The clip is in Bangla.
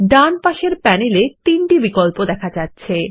ডান পাশের প্যানেল এ তিনটি বিকল্প দেখা যাচ্ছে